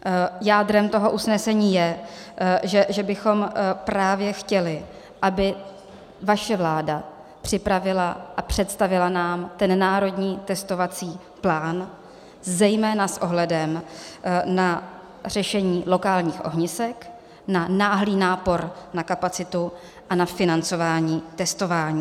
Jádrem toho usnesení je, že bychom právě chtěli, aby vaše vláda připravila a představila nám ten národní testovací plán zejména s ohledem na řešení lokálních ohnisek, na náhlý nápor na kapacitu a na financování testování.